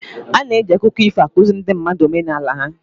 Ana eji akụkọ ifo akụziri ndị mmadụ omenala ha